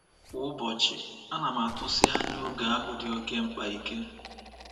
Kwa ụbọchị, ana m atụsi anya oge ahụ dị oké mkpa ike.